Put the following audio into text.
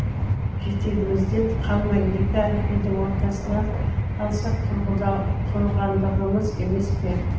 жетегімізден қалмай екі әліпбидің ортасында қалсақ құрығандығымыз емес пе